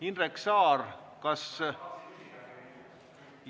Indrek Saar, kas ...?